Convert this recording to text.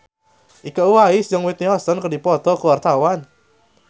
Iko Uwais jeung Whitney Houston keur dipoto ku wartawan